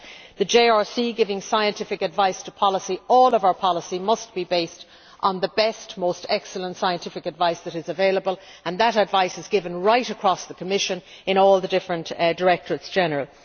The JRC, giving scientific advice to all of our policy, must be based on the best, most excellent scientific advice that is available and that advice is given right across the Commission in all the different directorates general.